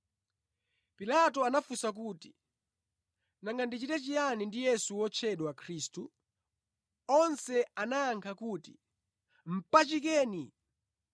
Pilato anafunsa kuti, “Nanga ndichite chiyani ndi Yesu wotchedwa Khristu?” Onse anayankha kuti “Mpachikeni!”